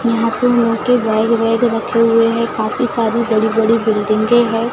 यहां पे बैग वैग रखे हुए हैं काफी सारी बड़ी बड़ी बिल्डिंगें है।